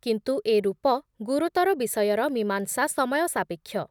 କିନ୍ତୁ ଏ ରୂପ ଗୁରୁତର ବିଷୟର ମୀମାଂସା ସମୟସାପେକ୍ଷ ।